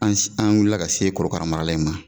An se, an wulila ka se kɔrɔkara marala in ma.